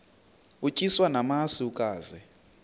utyiswa namasi ukaze